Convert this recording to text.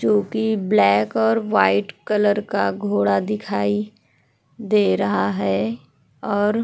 जोकि ब्लैक और white colour का घोड़ा दिखाई दे रहा है और --